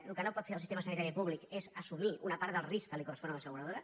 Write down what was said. el que no pot fer el sistema sanitari públic és assumir una part del risc que li correspon a l’asseguradora